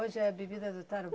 Hoje é a bebida do